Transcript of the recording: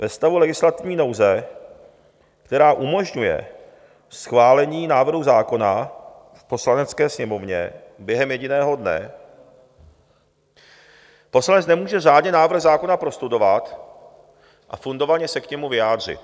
Ve stavu legislativní nouze, která umožňuje schválení návrhu zákona v Poslanecké sněmovně během jediného dne, poslanec nemůže řádně návrh zákona prostudovat a fundovaně se k němu vyjádřit.